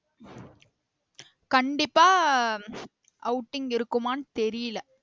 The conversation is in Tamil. கண்டிப்பா outing இருக்குமானு தெரியல